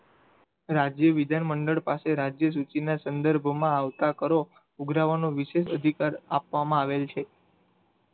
રાજ્ય બીજા મંડળ પાસે રાજ્ય સૂચી ના સંદર્ભો માં આવતા કરો ઉઘરાવાનો વિષય સ્વીકાર આપવામાં આવેલો છે.